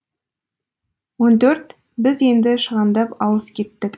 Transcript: он төрт біз енді шығандап алыс кеттік